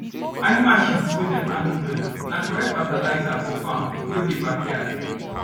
animal shit wey dem handle well na correct fertilizer for farm wey dey backyard